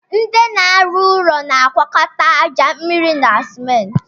Ndị na arụ ụlọ na agwakọta aja, mmịrị na simenti